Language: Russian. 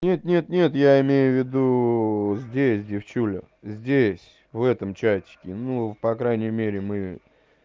нет нет нет я имею в виду здесь девчуля здесь в этом чатике ну по крайней мере мы